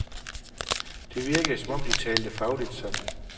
Det virkede som om de talte fagligt sammen.